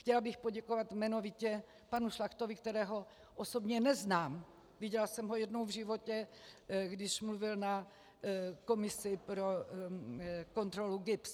Chtěla bych poděkovat jmenovitě panu Šlachtovi, kterého osobně neznám, viděla jsem ho jednou v životě, když mluvil na komisi pro kontrolu GIBS.